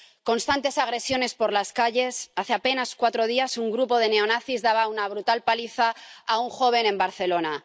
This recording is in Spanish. constantes agresiones por las calles —hace apenas cuatro días, un grupo de neonazis daba una brutal paliza a un joven en Barcelona—.